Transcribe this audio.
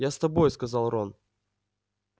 я с тобой сказал рон